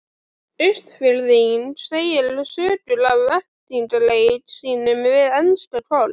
Austfirðing segja sögur af eltingaleik sínum við enska Koll.